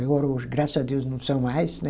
Agora hoje, graças a Deus, não são mais, né?